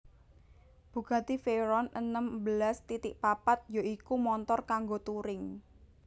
Bugatti Veyron enem belas titik papat ya iku montor kanggo touring